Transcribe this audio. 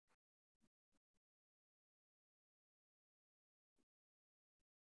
Dareenka dhaqanka waa in la tixgeliyo marka la qorsheynayo manhajka.